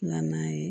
Na n'a ye